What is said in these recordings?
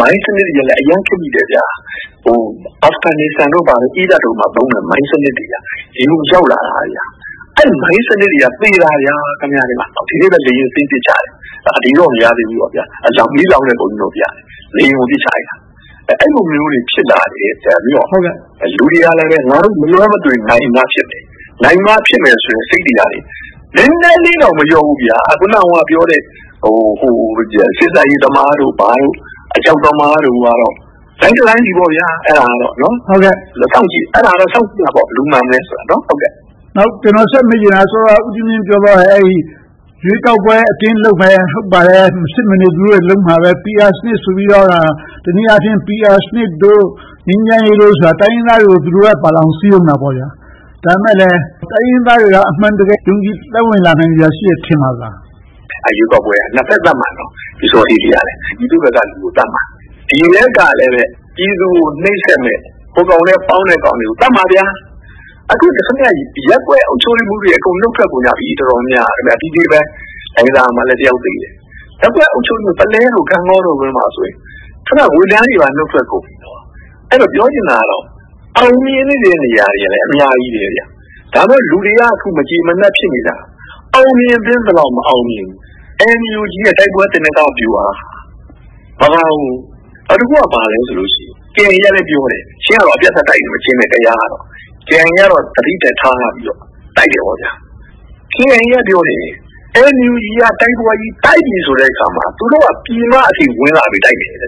မိုင်းစနစ်တွေကလည်း အရမ်းခေတ်မီတယ်။ အာဖဂန်နိစ္စတန်၊ အီရတ်တို့မှာသုံးတဲ့ မိုင်းစနစ်တွေက ဒီကိုရောက်လာတာ။ အဲဒီမိုင်းစနစ်တွေနဲ့ သေတာက အများကြီး။ လေယာဉ်ကို ပစ်ချတယ်။ အတိအကျတော့ မရသေးဘူး။ မီးလောင်းတဲ့ပုံကြီးတော့ ပြတယ်။ လေယာဉ်ကို ပစ်ချလိုက်တယ်။ အဲဒီလိုမျိုးတွေ ဖြစ်လာတယ်ဆိုတော့ လူတွေကလည်း ငါတို့ မလွှဲမသွေး နိုင်မှဖြစ်မယ်။ နိုင်မှဖြစ်မယ်ဆိုတဲ့ စိတ်တွေက နည်းနည်းလေးတောင် မလျော့ဘူး။ အခုနပြောတဲ့ စေ့စပ်ရေးသမားတို့ ဘာတို့ အကြောက်သမားတို့ကတော့ တိုင်းတတိုင်းပြည်ပေါ့။ အဲဒါကတော့ ဘယ်သူမှန်မလဲဆိုတာကို စောင့်ကြည့်ရမှာပေါ့။ နောက် ကျနော် ဆက်မေးချင်တာက စောစောက ဦးကြီးမြင့် ပြောသွားတဲ့ ရွေးကောက်ပွဲ အတင်းလုပ်မယ်။ မဖြစ်မနေ သူတို့လုပ်မယ့် PR စနစ်ဆိုပြီးတော့ PR စနစ်တို့ ငြိမ်းချမ်းရေးဆိုတာက တိုင်းရင်းသားတွေကို သူတို့ဘက်ပါအောင် စည်းရုံးတာပေါ့။ ဒါပေမဲ့လဲ တိုင်းရင်းသားတွေက အမှန်တကယ် ယုံကြည်သက်ဝင်လာစရာ ရှိတယ်ထင်ပါသလား။ ရွေးကောက်ပွဲက နှစ်ဘက်သတ်မှာ။ ပျူးစောထီးကလည်း ပြည်သူဘက်က လူတွေကို သတ်မှာ။ PDF ကလည်း ပြည်သူကို နှိပ်စက်မယ့် ဟိုကောင်နဲ့ ပေါင်းတဲ့ကောင်တွေကို သတ်မှာ။ အခု ရပ်ကွက်အုပ်ချုပ်ရေးမှူးတွေ အကုန်လုံး ထွက်ကုန်ကြပြီ။ တော်တော်များများက။ ဒီနေ့ပဲ လှိုင်သာယာမှာ တစ်ယောက်သေတယ်။ ပုလဲ၊ ဂန့်ဂေါ်တို့ဘက်မှာ ရပ်ကွက်အုပ်ချုပ်ရေးမှူးတွေအပြင် ဝန်ထမ်းတွေပါ နှုတ်ထွက်ကုန်ပြီ။ အဲဒီတော့ ပြောချင်တာက အောင်မြင်နေတဲ့ နေရာတွေကလည်း အများကြီးပဲ။ ဒါပေမဲ့ လူတွေက အခု မကျေမနပ် ဖြစ်နေတာက အောင်မြင်သင့်သလောက် မအောင်မြင်ဘူး။ NUG ရဲ့ တိုက်ပွဲ သေနင်္ဂဗျူဟာက ဘာလဲဆိုရင် KIA ကလည်း ပြောနေတယ်။ ချင်းကတော့ အပြတ်အသတ် တိုက်နေတယ်။ ကယားကလည်း တိုက်နေတယ်။ KIA ကတော့ သတိနဲ့ထားပြီးတော့ တိုက်နေတယ်။ KIA က ပြောတယ် NUG က တိုက်ပွဲကြီး တိုက်ပြီဆိုတဲ့အခါမှာ သူတို့လည်း ပြည်မအထိ ဝင်လာပြီးတော့ တိုက်မယ်။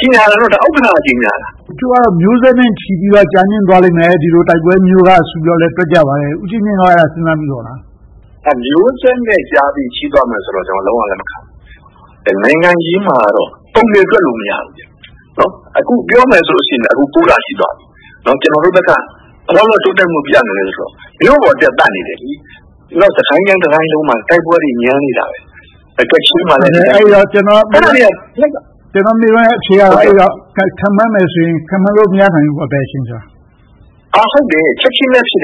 ကြေညာတာကတော့ ဥက္ကဋ္ဌက ကြေညာတာ။ တချို့က မျိုးဆက်နဲ့ချီပြီးတော့ ကြာမြှင့်သွားလိမ့်မယ်။ ဒီလိုတိုက်ပွဲမျိုးကဆိုပြီးတော့ ပြောကြပါတယ်။ ဦးကြီးမြင့်က အဲဒါကို စဉ်းစားမိပါသလား။ မျိုးဆက်နဲ့ချီပြီးတော့ ကြာသွားမယ်ဆိုတာကို ကျနော် လုံးဝလက်မခံဘူး။ နိုင်ငံရေးမှာတော့ ပုံသေတွက်လို့မရဘူး။ အခုပြောမယ်ဆိုရင်လဲ လ ရှိသွားပြီ။ ကျနော်တို့ဘက်က ဘယ်လောက်လောက် တိုးတက်မှုပြနိုင်သလဲဆိုရင်တော့ မြို့ပေါ်တက် သတ်နေတယ်။ စစ်ကိုင်းတိုင်း တတိုင်းလုံးမှာ တိုက်ပွဲတွေ ညံနေတယ်။ ကချင်မှာလည်း ဖြစ်နေတယ်။ ကျနော့်မေးခွန်းရဲ့ အဖြေက ခန့်မှန်းမယ်ဆိုရင် ခန့်မှန်းလို့ မရနိုင်ဘူးပေါ့။ ဘယ်အချိန်ကြာမလဲဆိုတာ။ ချက်ချင်းလည်း ဖြစ်န